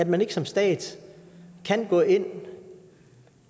man ikke som stat kan gå ind